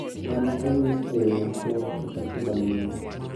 Ma ne onyis e yo machuok e katiba mare